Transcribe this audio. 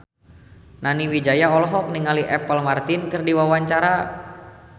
Nani Wijaya olohok ningali Apple Martin keur diwawancara